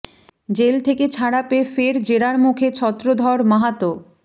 jail থেকে ছাড়া পেয়ে ফের জেরার মুখে ছত্রধর মাহাতো